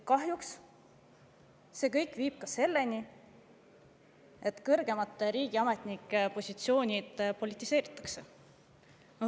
Kahjuks see kõik viib selleni, et kõrgemate riigiametnike positsioonid politiseeritakse.